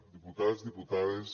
diputats diputades